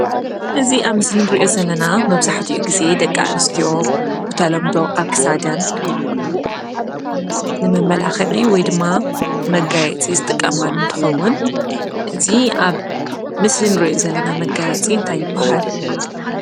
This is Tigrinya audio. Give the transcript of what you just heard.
እዚ ኣብ ምስሊ እንርእዮ ዘለና መብዛሕትኡ ግዜ ደቂ ኣንስትዮ ብተለምዶ ኣብ ክሳደን ንመመላኽዒ ወይድማ ንመጋየፂ ዝጥቀማሉ እንትኸውን እዚ ኣብ ምስሊ እንርእዮ ዘለና መጋየፂ እንታይ ይባሃል?